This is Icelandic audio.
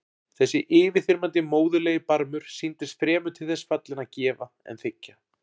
Þessi yfirþyrmandi móðurlegi barmur sýndist fremur til þess fallinn að gefa en þiggja.